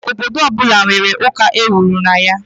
Obodo ọ bụla nwere ụlọ ụka ewuru na ya.